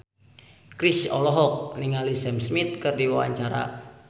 Chrisye olohok ningali Sam Smith keur diwawancara